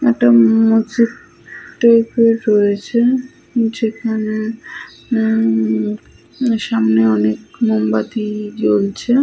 একটা ম ম মসজিদ টাইপের রয়েছে। যেখানে উম-ম সামনে অনেক মোমবাতি জ্বলছে।